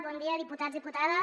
bon dia diputats diputades